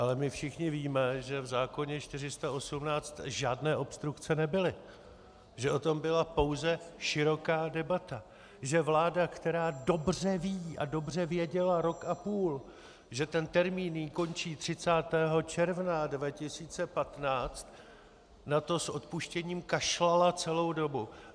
Ale my všichni víme, že v zákoně 418 žádné obstrukce nebyly, že o tom byla pouze široká debata, že vláda, která dobře ví a dobře věděla rok a půl, že ten termín jí končí 30. června 2015, na to s odpuštěním kašlala celou dobu.